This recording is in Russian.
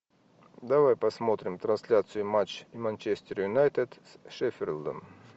давай посмотрим трансляцию матч манчестер юнайтед с шеффилдом